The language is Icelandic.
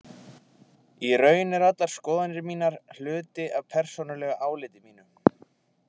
Í raun eru allar skoðanir mínar hluti af persónulegu áliti mínu.